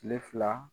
Kile fila